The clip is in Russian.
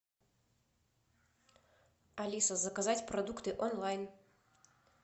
алиса заказать продукты онлайн